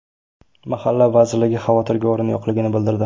Mahalla vazirligi xavotirga o‘rin yo‘qligini bildirdi.